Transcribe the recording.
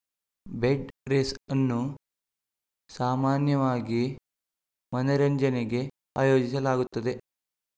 bed race ಅನ್ನು ಸಾಮಾನ್ಯವಾಗಿ ಮನರಂಜನೆಗೆ ಆಯೋಜಿಸಲಾಗುತ್ತದೆ